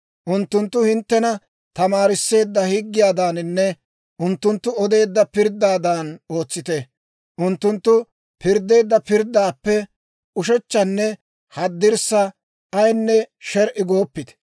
Unttunttu hinttena tamaarisseedda higgiyaadaaninne unttunttu odeedda pirddaadan ootsite; unttunttu pirddeedda pirddaappe ushechchanne haddirssa ayinne sher"i gooppite.